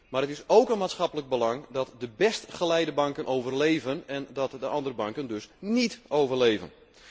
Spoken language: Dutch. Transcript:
Maar het is ook een maatschappelijk belang dat de best geleide banken overleven en dat de andere banken dus niet overleven.